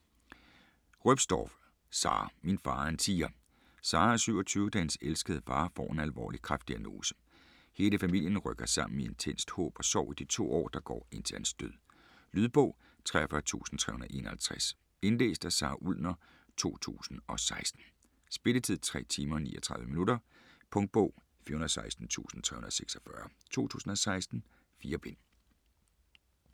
Roepstorff, Sara: Min far er en tiger Sara er 27, da hendes elskede far får en alvorlig kræftdiagnose. Hele familien rykker sammen i intenst håb og sorg i de to år, der går indtil hans død. Lydbog 43351 Indlæst af Sara Ullner, 2016. Spilletid: 3 timer, 39 minutter. Punktbog 416346 2016. 4 bind.